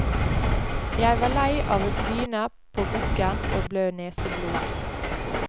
Jeg var lei av å tryne på bukken og blø neseblod.